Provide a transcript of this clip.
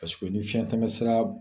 Paseke ni fiɲɛ tɛmɛ sira